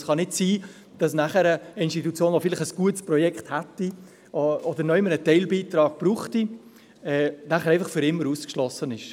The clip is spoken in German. Es kann nicht sein, dass eine Institution, die vielleicht ein gutes Projekt hätte oder irgendwo einen Teilbeitrag brauchen würde, einfach für immer ausgeschlossen ist.